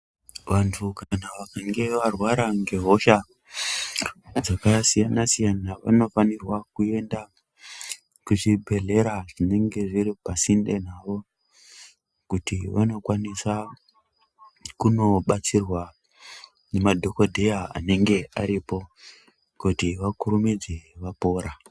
Vantu kana vakange varwara ngehosha dzakasiyana-siyana vanofanirwa kuenda kuzvibhehlera zvinenge zviri pasinde navo kuti vanokwanisa kunobatsirwa nemadhogodheya anenge aripo kuti vakurumidze vapora.